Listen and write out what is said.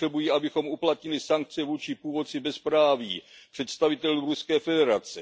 Potřebují, abychom uplatnili sankce vůči původci bezpráví, představitelům Ruské federace.